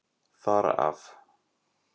Þar af.